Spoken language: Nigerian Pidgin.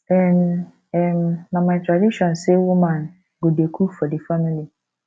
um um na my tradition sey woman go dey cook for di family